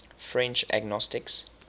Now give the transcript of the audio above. french agnostics